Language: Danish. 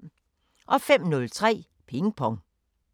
05:03: Ping Pong